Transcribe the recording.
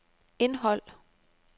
indhold